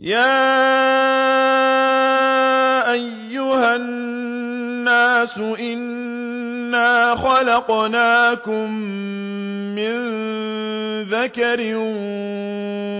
يَا أَيُّهَا النَّاسُ إِنَّا خَلَقْنَاكُم مِّن ذَكَرٍ